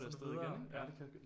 Og så er det afsted igen